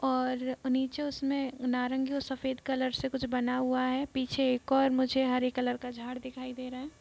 और नीचे उसमें नारंगी और सफेद कलर से कुछ बना हुआ है पीछे एक और मुझे हरे कलर का झाड़ दिखाई दे रहा है।